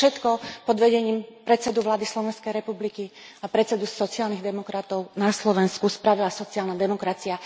Toto všetko pod vedením predsedu vlády Slovenskej republiky a predsedu sociálnych demokratov na Slovensku spravila Sociálna demokracia.